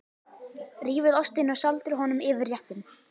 Rífið ostinn og sáldrið honum yfir réttinn.